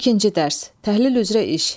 İkinci dərs, təhlil üzrə iş.